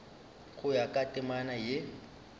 go ya ka temana ye